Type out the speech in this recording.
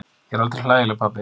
Ég er aldrei hlægileg pabbi.